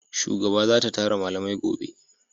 Shugaba za ta tara malamai gobe